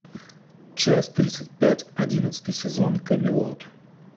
часть тридцать пять одиннадцатый сезон камелот